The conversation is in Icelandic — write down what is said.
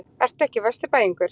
Ertu ekki Vesturbæingur?